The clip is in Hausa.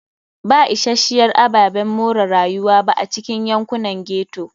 Ba isasshiyar ababen more rayuwa ba a cikin yankunan ghetto.